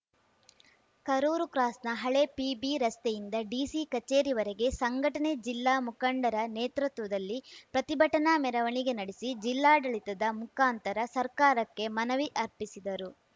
ಕರೂರು ಕ್ರಾಸ್‌ನ ಹಳೆ ಪಿಬಿರಸ್ತೆಯಿಂದ ಡಿಸಿ ಕಚೇರಿವರೆಗೆ ಸಂಘಟನೆ ಜಿಲ್ಲಾ ಮುಖಂಡರ ನೇತೃತ್ವದಲ್ಲಿ ಪ್ರತಿಭಟನಾ ಮೆರವಣಿಗೆ ನಡೆಸಿ ಜಿಲ್ಲಾಡಳಿತದ ಮುಖಾಂತರ ಸರ್ಕಾರಕ್ಕೆ ಮನವಿ ಅರ್ಪಿಸಿದರು